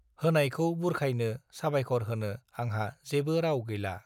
होनायखौ बुरखायनो साबायखर होनो आंहा जेबो राव गैला